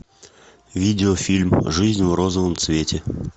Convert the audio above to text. видео фильм жизнь в розовом цвете